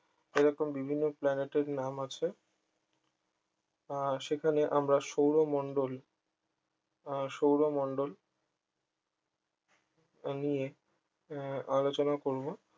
এইরকম বিভিন্ন planet এর নাম আছে আহ সেখানে আমরা সৌরমন্ডল আহ সৌরমন্ডল তা নিয়ে আলোচনা করবো